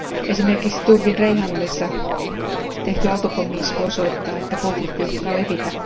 Esimerkiksi Turkin Reyhanlissa tehty autopommi isku osoittaa, että konflikti uhkaa levitä.